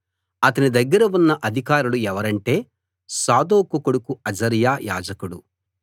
అతని దగ్గర ఉన్న అధికారులు ఎవరంటే సాదోకు కొడుకు అజర్యా యాజకుడు